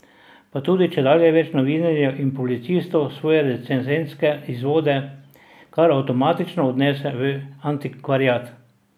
Pa tudi čedalje več novinarjev in publicistov svoje recenzentske izvode kar avtomatično odnese v antikvariat.